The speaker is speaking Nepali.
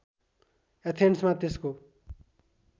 एथेन्समा त्यसको